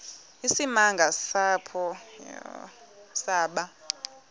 isimanga apho saba